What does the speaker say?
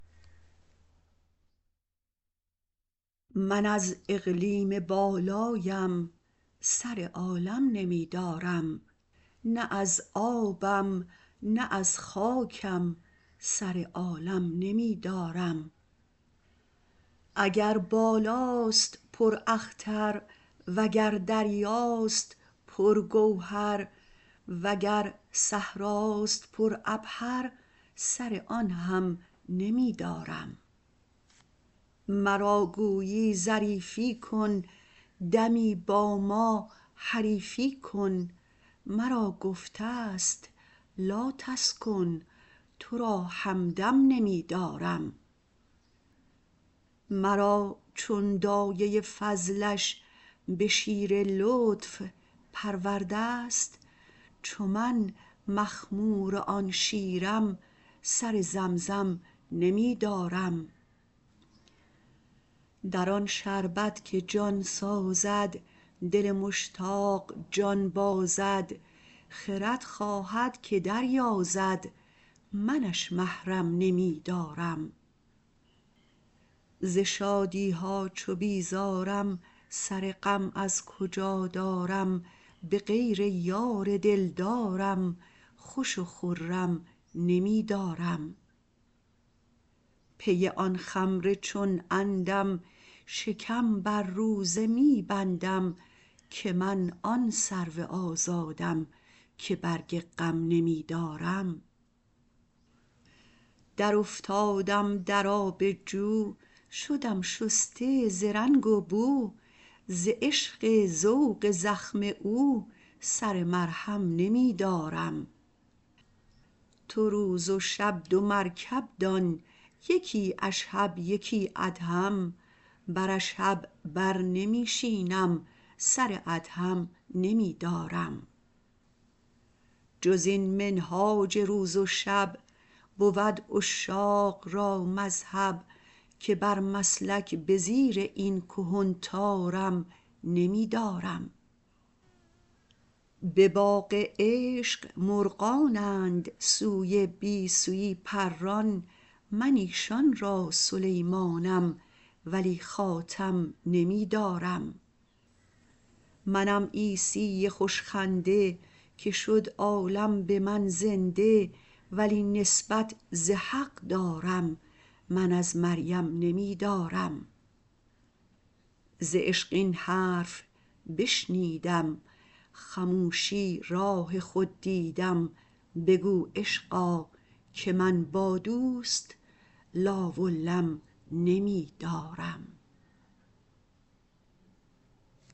من از اقلیم بالایم سر عالم نمی دارم نه از آبم نه از خاکم سر عالم نمی دارم اگر بالاست پراختر وگر دریاست پرگوهر وگر صحراست پرعبهر سر آن هم نمی دارم مرا گویی ظریفی کن دمی با ما حریفی کن مرا گفته ست لاتسکن تو را همدم نمی دارم مرا چون دایه فضلش به شیر لطف پرورده ست چو من مخمور آن شیرم سر زمزم نمی دارم در آن شربت که جان سازد دل مشتاق جان بازد خرد خواهد که دریازد منش محرم نمی دارم ز شادی ها چو بیزارم سر غم از کجا دارم به غیر یار دلدارم خوش و خرم نمی دارم پی آن خمر چون عندم شکم بر روزه می بندم که من آن سرو آزادم که برگ غم نمی دارم درافتادم در آب جو شدم شسته ز رنگ و بو ز عشق ذوق زخم او سر مرهم نمی دارم تو روز و شب دو مرکب دان یکی اشهب یکی ادهم بر اشهب بر نمی شینم سر ادهم نمی دارم جز این منهاج روز و شب بود عشاق را مذهب که بر مسلک به زیر این کهن طارم نمی دارم به باغ عشق مرغانند سوی بی سویی پران من ایشان را سلیمانم ولی خاتم نمی دارم منم عیسی خوش خنده که شد عالم به من زنده ولی نسبت ز حق دارم من از مریم نمی دارم ز عشق این حرف بشنیدم خموشی راه خود دیدم بگو عشقا که من با دوست لا و لم نمی دارم